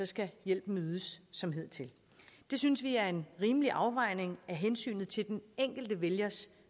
skal hjælpen ydes som hidtil det synes vi er en rimelig afvejning af hensynet til den enkelte vælgers